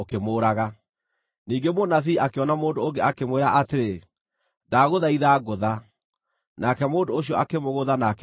Ningĩ mũnabii akĩona mũndũ ũngĩ, akĩmwĩra atĩrĩ, “Ndagũthaitha ngũtha,” nake mũndũ ũcio akĩmũgũtha na akĩmũtiihia.